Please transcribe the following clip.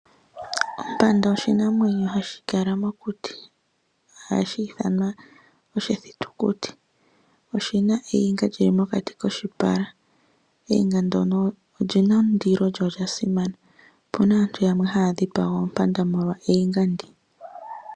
Ompanda oshinamwenyo hashi kala mokuti, nohashi ithanwa oshithitukuti. Oshina oniga yi li mokati koshipala. Oniga ndyono oyina ondilo, yo oya simana. Opuna aantu yamwe haya dhipanga oompanda molwa oniga ndyono.